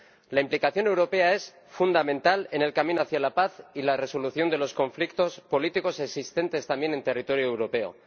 La implicación europea es fundamental en el camino hacia la paz y la resolución de los conflictos políticos existentes también en territorio europeo.